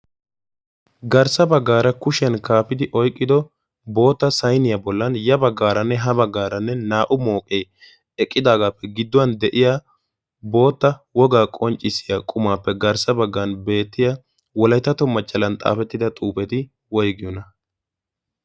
garssa baggaara kushiyan kaafidi oyqqido boota sainiyaa bollan ya baggaaranne ha baggaaranne naa'u mooqee eqqidaagaappe gidduwan de'iya bootta wogaa qonccissiya qumaappe garssa baggan beettiya woleetato machchalan xaafettida xuufeti woygiyouna?